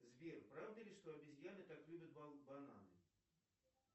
сбер правда ли что обезьяны так любят бананы